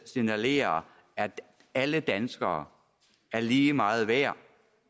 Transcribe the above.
signalerer at alle danskere er lige meget værd